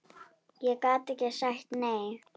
Ég gat ekki sagt nei.